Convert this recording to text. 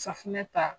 Safunɛ ta